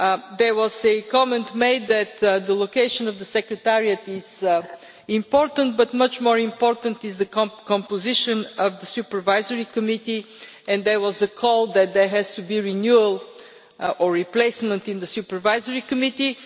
There was a comment made that the location of the Secretariat is important, but much more important is the composition of the Supervisory Committee, and there was a call that there has to be renewal or replacement in the Supervisory Committee.